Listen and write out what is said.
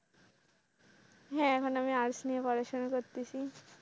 হ্যাঁ মানে আমি arts নিয়ে পড়াশোনা করতেছি।